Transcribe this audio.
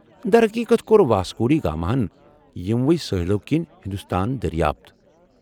در حقیقت ، كو٘ر واسکو ڈی گاماہن یِمو٘ سٲحِلو كِنۍ ہندوستان دریافت ۔